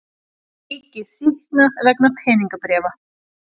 Ríkið sýknað vegna peningabréfa